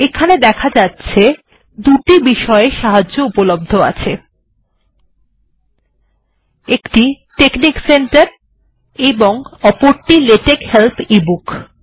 এখানে দেখা যাচ্ছে যে দুটি বিষয়ে সাহায্য উপলব্ধ আছে একটি টেকনিক সেন্টার এর উপর এবং অপরটি লেটেক্স হেল্প e বুক